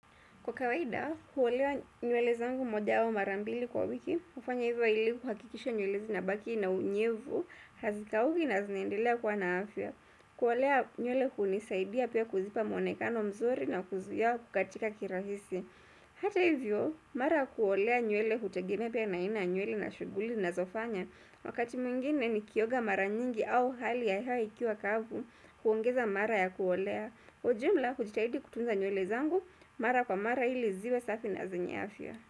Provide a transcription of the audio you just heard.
Kwa kawaida, huolewa nywele zangu moja au mara mbili kwa wiki, hufanya hivyo ili kuhakikisha nywele zinabaki na unyevu, hazikauki na zinaendelea kuwa na afya. Kuolea nywele hunisaidia pia kuzipa mwonekano mzuri na kuzuia kukatika kirahisi. Hata hivyo, mara ya kuolea nywele hutegeme pia na aina nywele na shughuli na ninazofanya, wakati mwingine nikioga mara nyingi au hali ya hewa ikiwa kavu, huongeza mara ya kuolea. Kwa ujumla hujitahidi kutunza nywele zangu mara kwa mara ili ziwe safi na zenye afya.